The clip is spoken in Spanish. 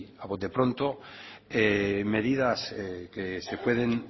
a bote pronto medidas que se pueden